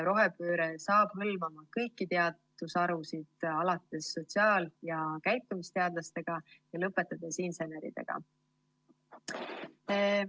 Rohepööre hakkab hõlmama kõiki teadusharusid ja teadlasi, alates sotsiaal‑ ja käitumisteadlastest ja lõpetades inseneridega.